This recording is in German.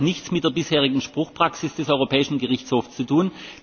Das hat nichts mit der bisherigen Spruchpraxis des Europäischen Gerichtshofs zu tun.